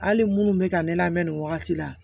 Hali minnu bɛ ka ne lamɛn nin wagati la